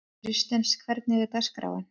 Kristens, hvernig er dagskráin?